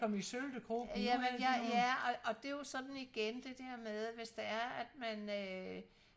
jamen ja ja og det er jo sådan igen det der med hvis det er at man øh